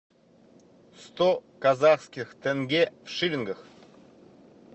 сто казахских тенге в шиллингах